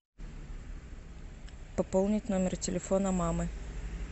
пополнить номер телефона мамы